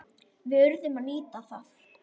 Við urðum að nýta það.